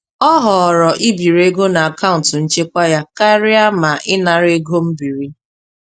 Ọ họọrọ ibiri ego n'akaụntụ nchekwa ya karịa ma ịnara ego mbiri.